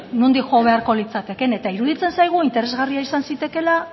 nondik jo beharko litzateke eta iruditzen zaigu interesgarria izan zitekeela